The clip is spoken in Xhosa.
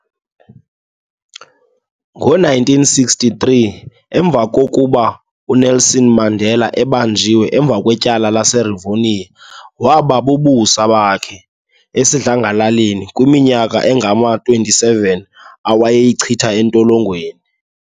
Ngo 1963 emva kokuba uNelson Mandela abanjwe emva kwetyala lase Revonia waba bubusa bakhe esidlangalaleni kwiminyaka engama 27 ewayayichithe etolongweni